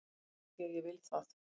AF ÞVÍ AÐ ÉG VIL ÞAÐ!